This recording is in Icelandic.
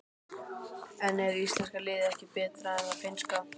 En er íslenska liðið ekki betra en það finnska?